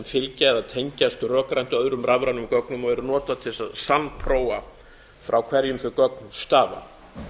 fylgja eða tengjast rökrænt öðrum rafrænum gögnum og eru notuð til að sannprófa frá hverjum þau gögn stafa